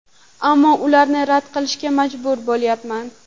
Ammo ularni rad qilishga majbur bo‘lyapman.